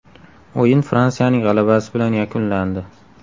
O‘yin Fransiyaning g‘alabasi bilan yakunlandi.